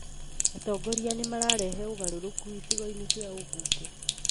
Atongoria nĩmararehe ũgarũrũku icigo-inĩ cia ũmbunge